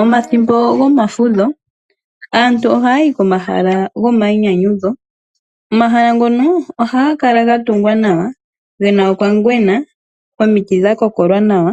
Omathimbo gomafudho aantu ohaya yi komahala gomayinyanyudho. Omahala ngono ohaga kala ga tungwa nawa ge na okangwena, omiti dha kokolwa nawa